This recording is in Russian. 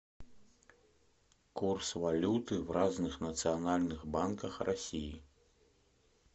курс валюты в разных национальных банках россии